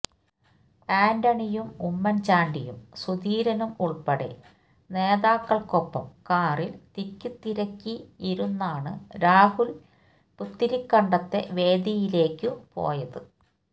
ആന്റണിയും ഉമ്മൻ ചാണ്ടിയും സുധീരനും ഉൾപ്പെടെ നേതാക്കൾക്കൊപ്പം കാറിൽ തിക്കിത്തിരക്കിയിരുന്നാണു രാഹുൽ പുത്തരിക്കണ്ടത്തെ വേദിയിലേക്കു പോയത്